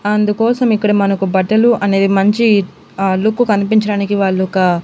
అందుకోసం ఇక్కడ మనకు బట్టలు అనేది మంచి అహ్ లుక్ కనిపించడానికి వాళ్ళు ఒక--